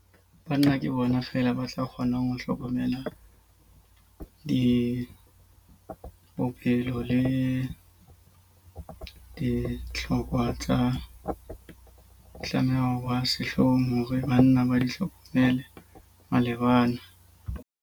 Banna ke bona feela ba tla kgonang ho hlokomela dipopelo le dihlokwa tsa tlameha ho sehloho hore banna ba di hlokomele malebana.